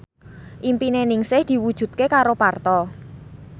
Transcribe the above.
impine Ningsih diwujudke karo Parto